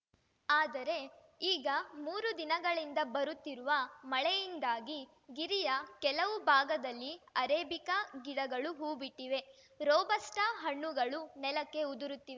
ಆದರೆ ಈಗ ಮೂರು ದಿನಗಳಿಂದ ಬರುತ್ತಿರುವ ಮಳೆಯಿಂದಾಗಿ ಗಿರಿಯ ಕೆಲವು ಭಾಗದಲ್ಲಿ ಅರೇಬಿಕಾ ಗಿಡಗಳು ಹೂವು ಬಿಟ್ಟಿವೆ ರೋಬಸ್ಟಾಹಣ್ಣುಗಳು ನೆಲಕ್ಕೆ ಉದುರುತ್ತಿವೆ